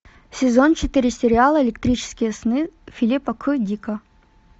сезон четыре сериала электрические сны филипа к дика